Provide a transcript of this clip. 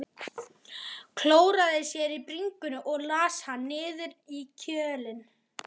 Klóraði sér á bringunni og las hann niður í kjölinn.